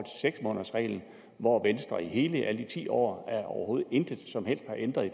seks månedersreglen hvor venstre i alle de ti år overhovedet intet som helst har ændret